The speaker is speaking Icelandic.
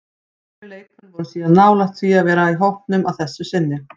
Fleiri leikmenn voru síðan nálægt því að vera í hópnum að þessu sinni.